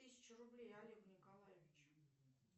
тысячу рублей олегу николаевичу